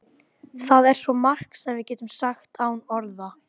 Það er svo margt sem við getum sagt án orða.